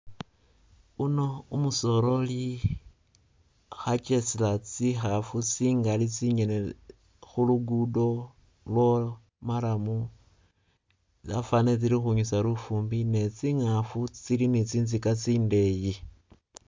Uno umusoleri khakesela tsikhafu tsingali tsingene khu'luguddo lwo'murram tsafanile tsili ukhwinyusa lufumbi ne'tsingafu tsili ni'tsintsika tsindeyi